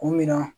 K'u min na